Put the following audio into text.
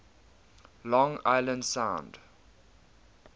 long island sound